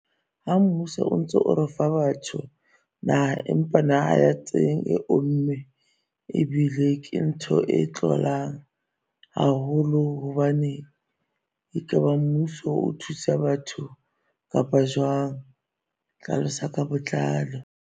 Ha mmuso o ntso o ro o fa batho naha, empa naha ya teng e omme ebile ke ntho e tlolang haholo hobane, e ka ba mmuso o thusa batho kapa jwang? Hlalosa ka botlalo.